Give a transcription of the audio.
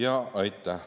Aitäh!